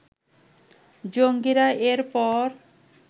জঙ্গীরা এর পর